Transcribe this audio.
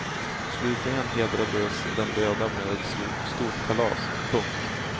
Slutligen hedrades den döda med ett stort kalas. punkt